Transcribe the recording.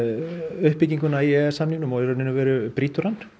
uppbygginguna í e e s samningnum og í raun og veru brýtur hann